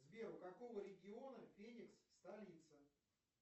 сбер у какого региона феникс столица